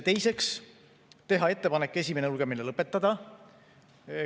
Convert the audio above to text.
Teiseks, teha ettepanek esimene lugemine lõpetada.